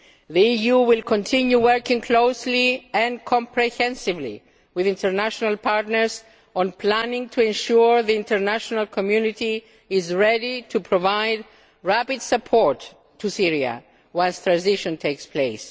The EU will continue working closely and comprehensively with international partners on planning to ensure the international community is ready to provide rapid support to Syria once transition takes place.